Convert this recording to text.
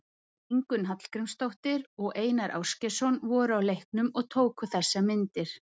Ingunn Hallgrímsdóttir og Einar Ásgeirsson voru á leiknum og tóku þessar myndir.